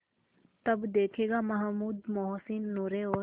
तब देखेगा महमूद मोहसिन नूरे और